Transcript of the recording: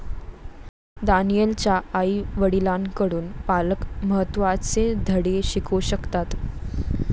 दानीएलच्या आईवडिलांकडून पालक महत्त्वाचे धडे शिकू शकतात.